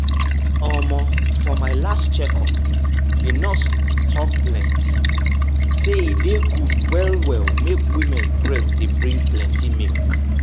um for my last check up the nurse talk plenty say e dey good well well make women breast dey bring plenty milk.